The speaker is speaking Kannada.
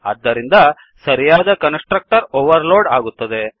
ಆದ್ದರಿಂದ ಸರಿಯಾದ ಕನ್ಸ್ ಟ್ರಕ್ಟರ್ ಓವರ್ ಲೋಡ್ ಆಗುತ್ತದೆ